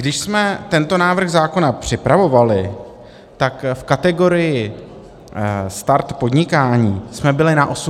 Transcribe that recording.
Když jsme tento návrh zákona připravovali, tak v kategorii start podnikání jsme byli na 81. místě.